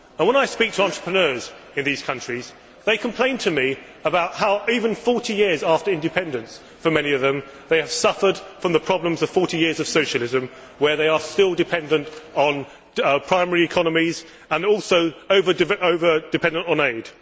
When I speak to entrepreneurs in these countries, they complain to me about how, even 40 years after independence for many of them, they have suffered from the problems of 40 years of socialism, where they are still dependent on primary economies and also over dependent on aid.